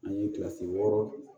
An ye kilasi wɔɔrɔ